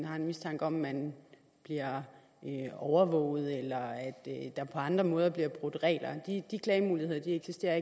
har mistanke om at man bliver overvåget eller der på andre måder bliver brudt regler de klagemuligheder eksisterer